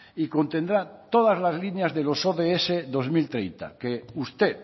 y contendrá todas las líneas de los ods dos mil treinta que usted